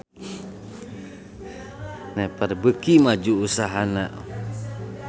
Naver beuki maju usahana